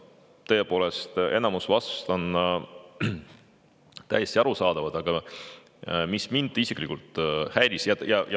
Tõepoolest, enamik vastustest on täiesti arusaadavad, aga mind isiklikult häiris.